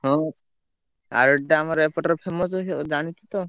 ହଁ ଆରଡିଟା ଆମ ଏପଟର famous ଜାଣିଛୁ ତ।